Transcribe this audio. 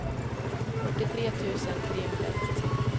fyrtiotre tusen trehundraett